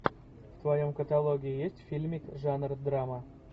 в твоем каталоге есть фильмик жанр драма